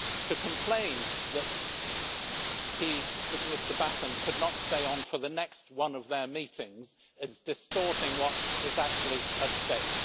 To complain that he, Mr Batten, could not stay on for the next one of their meetings is distorting what was actually at stake.